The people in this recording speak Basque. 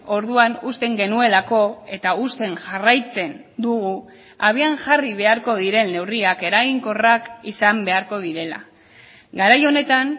orduan uzten genuelako eta uzten jarraitzen dugu abian jarri beharko diren neurriak eraginkorrak izan beharko direla garai honetan